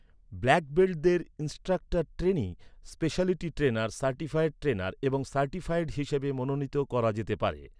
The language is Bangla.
ব্ল্যাক বেল্টদের instructor trainee, specialty trainer, certified trainer, এবং সার্টিফায়েড হিসাবে মনোনীত করা যেতে পারে।